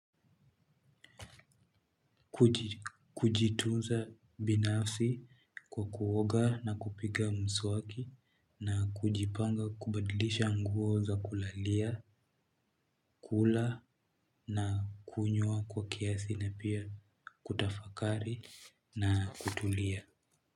Kujitunza binafsi kwa kuoga na kupiga mswaki na kujipanga kubadilisha nguo za kulalia, kula na kunyua kwa kiasi na pia kutafakari na kutulia.